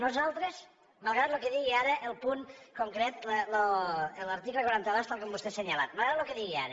nosaltres malgrat el que digui ara el punt concret l’article quaranta dos tal com vostè ha assenyalat malgrat el que digui ara